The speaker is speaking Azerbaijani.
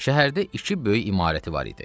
Şəhərdə iki böyük imarəti var idi.